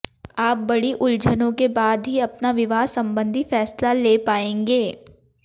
आप बड़ी उलझनों के बाद ही अपना विवाह संबंधी फैसला ले पाएंगे